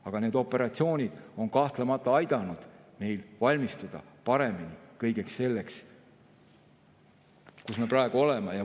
Aga need operatsioonid on kahtlemata aidanud meil paremini valmistuda kõigeks selleks, kus me praegu oleme.